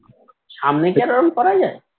সামনে কি আর ওরকম করা যায়